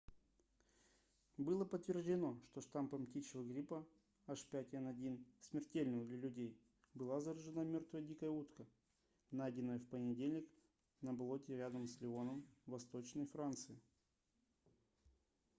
было подтверждено что штаммом птичьего гриппа h5n1 смертельного для людей была заражена мёртвая дикая утка найденная в понедельник на болоте рядом с леоном в восточной франции